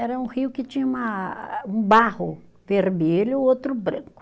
Era um rio que tinha uma, um barro vermelho e outro branco.